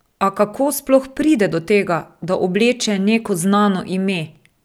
A kako sploh pride do tega, da obleče neko znano ime?